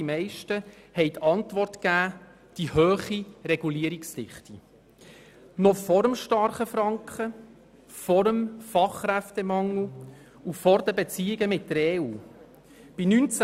» Bei den Antworten stand die hohe Regulierungsdichte mit Abstand an erster Stelle und verdrängte das Problem des starken Frankens, des Fachkräftemangels und der Beziehungen mit der Europäischen Union (EU).